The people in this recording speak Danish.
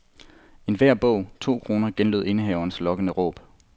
Enhver bog, to kroner, genlød indehavernes lokkende råb.